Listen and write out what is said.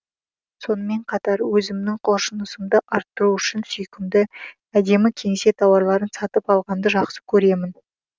сонымен қатар өзімнің құлшынысымды арттыру үшін сүйкімді әдемі кеңсе тауарларын сатып алғанды жақсы көремін